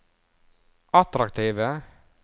attraktive